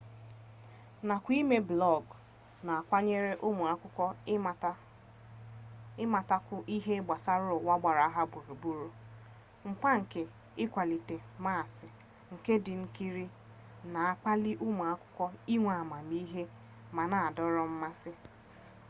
nakwa ime blọọgụ na-akwanye ụmụakwụkwọ ịmatakwu ihe gbasara ụwa gbara ha gburugburu. mkpa nke ịkwalite mmasị nke ndị nkiri na-akpali ụmụakwụkwọ inwe amamihe ma na-adọrọ mmasị toto 2004